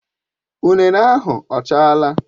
Ụnene ahụ ọ chaala?